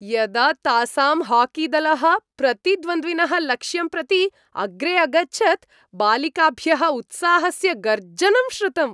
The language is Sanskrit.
यदा तासां हाकीदलः प्रतिद्वन्द्विनः लक्ष्यं प्रति अग्रे अगच्छत् बालिकाभ्यः उत्साहस्य गर्जनं श्रुतम्।